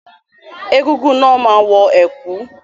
Egúngún náà máa wọ ẹ̀kú.